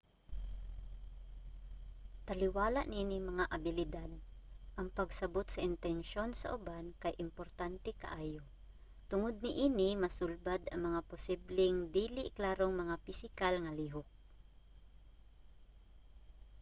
taliwala niining mga abilidad ang pagsabot sa intensyon sa uban kay importante kaayo. tungod niini masulbad ang mga posibleng dili klarong mga pisikal nga lihok